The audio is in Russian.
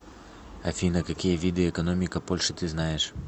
афина какие виды экономика польши ты знаешь